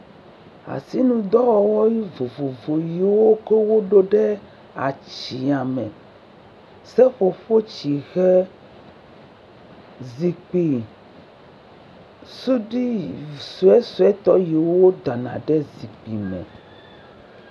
Asinudɔwɔwɔ nuvovovo yi ke wokɔ wo ɖo ɖe atsiã me, seƒoƒo tsihe, zikpui suɖui yi..vi…sueuse yi ke wodana ɖe zikpui me.